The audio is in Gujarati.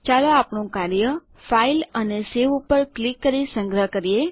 ચાલો આપણું કાર્ય ફાઇલ પર અને સવે ક્લિક કરી સંગ્રહ કરીએ